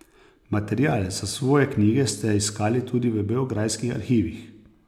Material za svoje knjige ste iskali tudi v beograjskih arhivih.